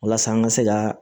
Walasa an ka se ka